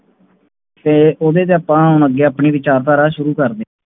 ਤੇ ਓਹਦੇ ਚ ਆਪਾਂ ਹੁਣ ਅੱਗੇ ਆਪਣੀ ਵਿਚਾਰਧਾਰਾ ਸ਼ੁਰੂ ਕਰਦੇ